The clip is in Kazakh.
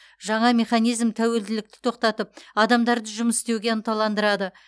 жаңа механизм тәуелділікті тоқтатып адамдарды жұмыс істеуге ынталандырады